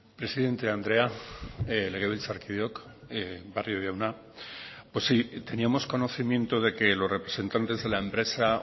presidente andrea legebiltzarkideok barrio jauna pues sí teníamos conocimiento de que los representantes de la empresa